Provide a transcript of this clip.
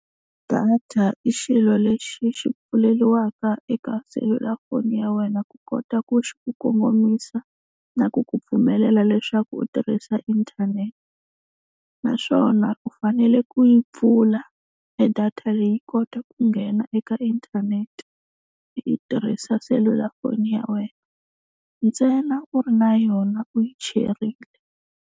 Data i xilo lexi xi pfuleliwaka eka selulafoni ya wena ku kota ku kongomisa na ku ku pfumelela leswaku u tirhisa inthanete. Naswona u fanele ku yi pfula e data leyi yi kota ku nghena eka inthanete i yi tirhisa selulafoni ya wena ntsena u ri na yona u yi cherile.